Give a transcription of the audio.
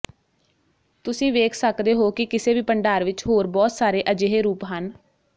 ਤੁਸੀਂ ਵੇਖ ਸਕਦੇ ਹੋ ਕਿ ਕਿਸੇ ਵੀ ਭੰਡਾਰ ਵਿੱਚ ਹੋਰ ਬਹੁਤ ਸਾਰੇ ਅਜਿਹੇ ਰੂਪ ਹਨ